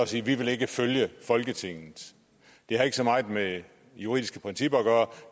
sige vi vil ikke følge folketinget det har ikke så meget med juridiske principper at gøre